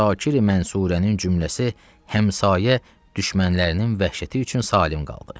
Əsakiri-Mənsurənin cümləsi həmşayə düşmənlərinin vəhşəti üçün salim qaldı.